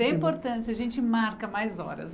Tem importância, a gente marca mais horas.